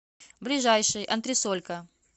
ближайший антресолька